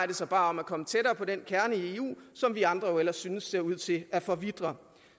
det sig bare om at komme tættere på den kerne i eu som vi andre jo ellers synes ser ud til at forvitre